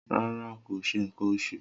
Rara, ko ṣe nkan oṣu.